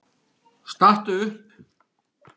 Stattu upp!